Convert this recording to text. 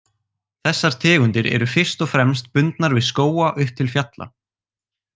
Þessar tegundir eru fyrst og fremst bundnar við skóga upp til fjalla.